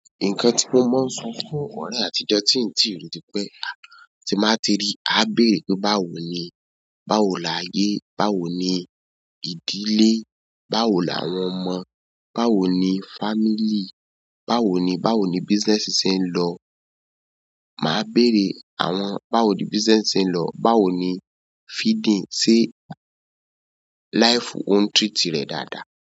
Nǹkan tí mo máa ń sọ fún ọ̀rẹ́ àtijọ́ tí n ti rí ni pẹ́, tí n báa ti rí, a béèrè pé báwo ni? Báwo lààyé? Báwo ni ìdílé? Báwo làwọn ọmọ? Báwo ni family? Báwo ni, báwo ni business ṣe ń lọ? Máa béèrè àwọn báwo ni business ṣe ń lọ? Báwo ni feeding ṣe, life o ń treat rẹ̀ dáadáa.